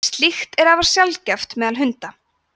slíkt er afar sjaldgæft meðal hunda